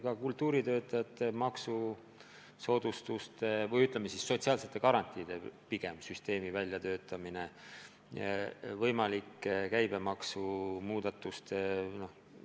Käib kultuuritöötajate maksusoodustuste või sotsiaalsete garantiide süsteemi ja võimalike käibemaksumuudatuste väljatöötamine.